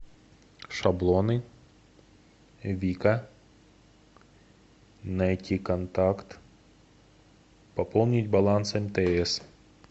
шаблоны вика найти контакт пополнить баланс мтс